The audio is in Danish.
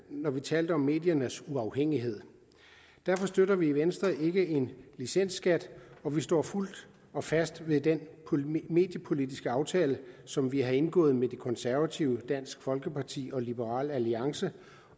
når vi talte om mediernes uafhængighed derfor støtter vi i venstre ikke en licensskat og vi står fuldt og fast ved den mediepolitiske aftale som vi har indgået med de konservative dansk folkeparti og liberal alliance